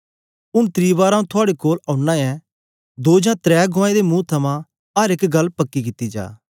ऊन त्री बार आंऊँ थुआड़े कोल औना ऐं दो जां त्रै गुआऐं दे मुंह थमां अर एक गल्ल पक्की कित्ती जाग